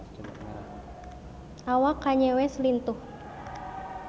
Awak Kanye West lintuh